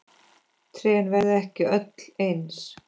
Trén verða ekki öll eins.